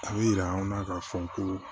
A bɛ yira anw na k'a fɔ ko